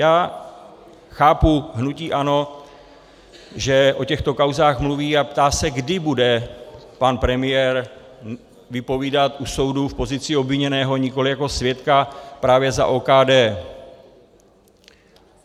Já chápu hnutí ANO, že o těchto kauzách mluví a ptá se, kdy bude pan premiér vypovídat u soudu v pozici obviněného, nikoli jako svědka, právě za OKD.